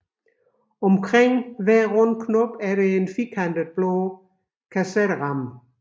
Omkring hver rund knop er der en firkantet blå kasetteramme